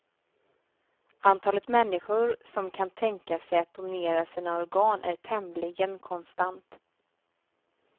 Antalet människor som kan tänka sig att donera sina organ är tämligen konstant.